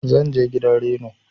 zanje gidan Reno.